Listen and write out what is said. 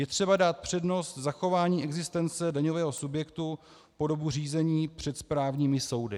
Je třeba dát přednost zachování existence daňového subjektu po dobu řízení před správními soudy.